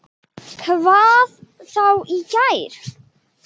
Hvað þá í gær.